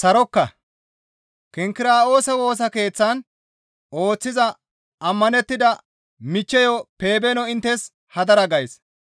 Kinkira7oose Woosa Keeththan ooththiza ammanettida michcheyo Pebeeno inttes hadara gays.